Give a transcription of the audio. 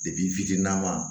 fitinin